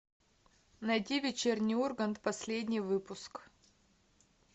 найди вечерний ургант последний выпуск